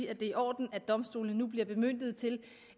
er i orden at domstolene nu bliver bemyndiget til